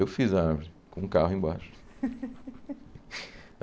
Eu fiz a árvore, com o carro embaixo.